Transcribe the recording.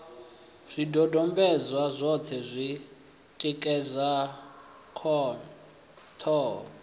zwidodombedzwa zwoṱhe zwi tikedza ṱhoho